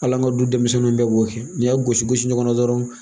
Hal'an ka du denmisɛnninw bɛɛ b'o kɛ n'i y'a gosi gosi ɲɔgɔnna dɔrɔn